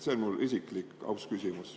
See on mu isiklik aus küsimus.